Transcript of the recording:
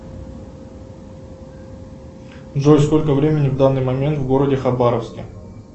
джой сколько времени в данный момент в городе хабаровске